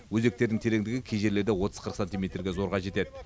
өзектердің тереңдігі кей жерлерде отыз қырық сантиметрге зорға жетеді